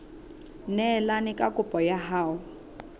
neelane ka kopo ya hao